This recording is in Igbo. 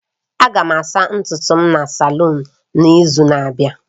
Aga m asa ntutu m na salun n'izu na-abịa